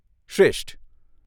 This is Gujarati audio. શ્રેષ્ઠ.